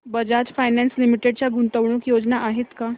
Bajaj finance limited च्या गुंतवणूक योजना आहेत का